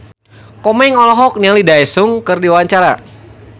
Komeng olohok ningali Daesung keur diwawancara